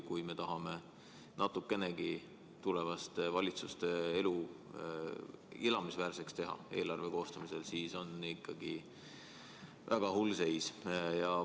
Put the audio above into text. Kui me tahame tulevaste valitsuste elu eelarve koostamisel natukenegi elamisväärseks teha, siis on selge, et on ikkagi väga hull seis.